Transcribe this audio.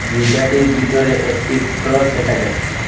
গির্জাটির বিতরে একটি ক্রস দেখা যাচ্ছে।